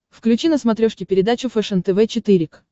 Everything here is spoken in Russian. включи на смотрешке передачу фэшен тв четыре к